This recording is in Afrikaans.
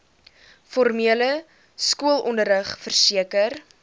formele skoolonderrig verseker